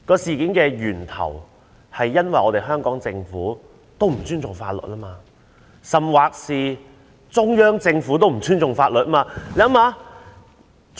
事件的起因在於香港政府本身也不尊重法律，甚或連中央政府也不尊重法律。